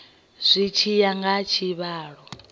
zwi tshi ya nga tshivhalo